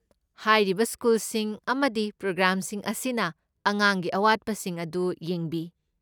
ꯍꯥꯏꯔꯤꯕ ꯁ꯭ꯀꯨꯜꯁꯤꯡ ꯑꯃꯗꯤ ꯄ꯭ꯔꯣꯒ꯭ꯔꯥꯝꯁꯤꯡ ꯑꯁꯤꯅ ꯑꯉꯥꯡꯒꯤ ꯑꯋꯥꯠꯄꯁꯤꯡ ꯑꯗꯨ ꯌꯦꯡꯕꯤ꯫